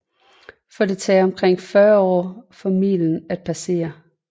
For det tager omkring 40 år for milen at passere